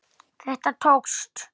Stóð ég mig ekki vel?